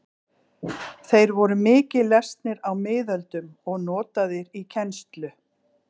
Þeir voru mikið lesnir á miðöldum og notaðir í kennslu.